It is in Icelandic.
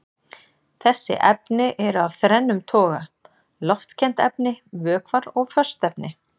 Þessi efni eru af þrennum toga: loftkennd efni, vökvar og föst efni.